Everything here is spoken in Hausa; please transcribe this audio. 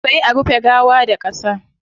Sai a rufe gawa da qasa